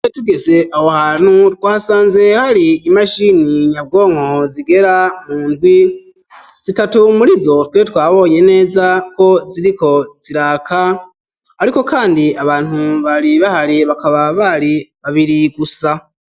Iyo tugeze aho hantu twasanze hari imashini nyabwonko zigera mu ndwi zitatu murizo twe twabonye neza ko ziriko ziraka ariko kandi abantu bari bahari bakaba bari babiri gusa.